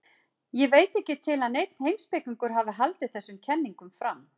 Ég veit ekki til að neinn heimspekingur hafi haldið þessum kenningum fram.